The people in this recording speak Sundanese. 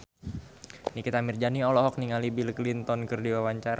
Nikita Mirzani olohok ningali Bill Clinton keur diwawancara